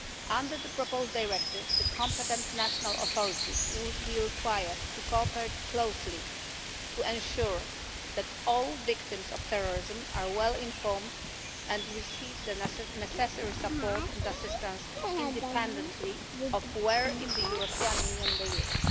Under the proposed directive, the competent national authorities would be required to cooperate closely to ensure that all victims of terrorism are well informed and receive the necessary support and assistance, independently of where in the European Union they live.